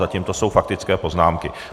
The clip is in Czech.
Zatím to jsou faktické poznámky.